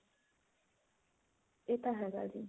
ਇਹ ਤਾਂ ਹੈਗਾ ਜੀ